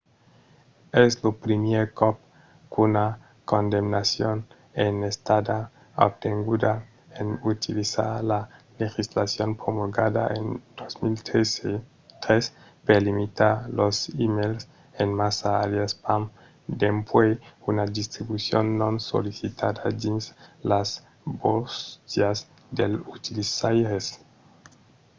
es lo primièr còp qu'una condamnacion es estada obtenguda en utilizar la legislacion promulgada en 2003 per limitar los emails en massa aliàs spam dempuèi una distribucion non sollicitada dins las bóstias dels utilizaires